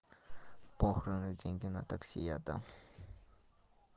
похрен я деньги на такси я дам